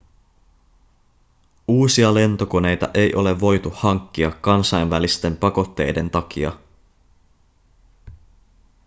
uusia lentokoneita ei ole voitu hankkia kansainvälisten pakotteiden takia